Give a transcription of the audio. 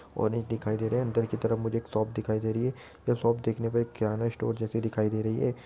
और एक दिखई दे रहा है अंदर की तरफ मुझे एक शॉप दिखई दे रही है ये शॉप दिखने मे किरण स्टोर जैसी दिखई दे रही है।